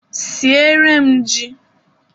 Sieere m jí!